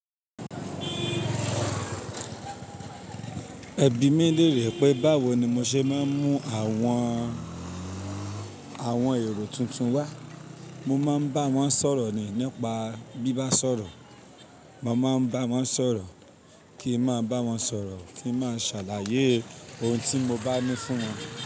Ẹbí mí lère pé báwo ni mo ṣe máa ń mú àwọn, àwọn èrò tuntun wá. Mo máa ń bá wọn sọ̀rọ̀ ni nípa bí bá sọ̀rọ̀. Mo máa ń bá wọn sọ̀rọ̀ kí n máa bá wọn sọ̀rọ̀, kí n máa ṣàlàyé ohun tí mo bá ní fún wọn.